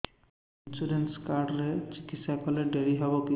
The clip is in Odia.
ଇନ୍ସୁରାନ୍ସ କାର୍ଡ ରେ ଚିକିତ୍ସା କଲେ ଡେରି ହବକି